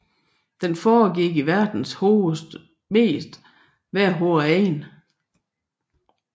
Den foregik i verdens mest vejrhårde egne